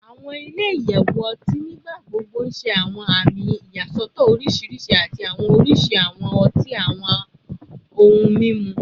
Awọn ile-iyẹwu ọti nigbagbogbo n ṣe awọn ami iyasọtọ oriṣiriṣi ati awọn oriṣi awọn ọti ati awọn ohun mimu